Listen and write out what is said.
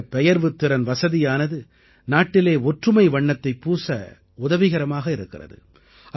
இந்தப் பெயர்வுத்திறன் வசதியானது நாட்டிலே ஒற்றுமை வண்ணத்தைப் பூச உதவிகரமாக இருக்கிறது